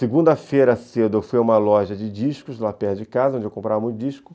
Segunda-feira cedo eu fui a uma loja de discos lá perto de casa, onde eu comprava meu disco.